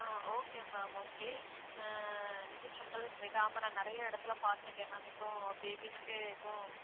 அஹ் okay ma'am okay அ நீங்க சொல்றது விடாம நான் நிறைய இடத்துல பாத்துருக்கேன் ma'am இப்போ babies க்கு இப்போ